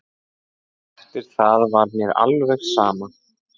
Eftir það var mér alveg sama.